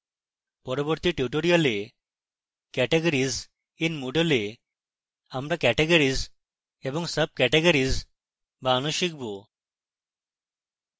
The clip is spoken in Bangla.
পরবর্তী tutorial categories in moodle we আমরা categories এবং subcategories বানানো শিখব